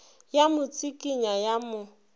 ya mo tsikinya ya mo